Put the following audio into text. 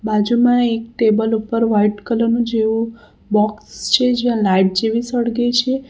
બાજુમાં એક ટેબલ ઉપર વાઈટ કલર નું જેવું બોક્સ છે જ્યાં લાઈટ જેવી સળગે છે.